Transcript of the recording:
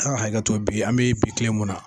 A' ka hakɛto bi an bɛ bi tile mun na